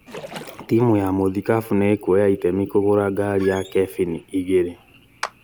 timũ ya mũthikabu nĩ ĩkuoya itemi kũgũra ngari ya kebini igĩrĩ